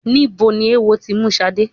Níbo ni eéwo ti mú Ṣadé?